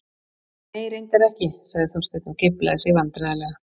Nei, reyndar ekki- sagði Þorsteinn og geiflaði sig vandræðalega.